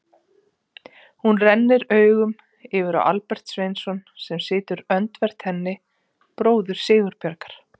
Hún rennir augunum yfir á Albert Sveinsson sem situr öndvert henni, bróður Sigurbjargar.